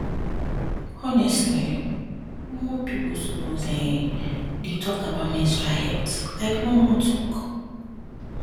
honestly um more people suppose um dey talk about menstrual health like normal talk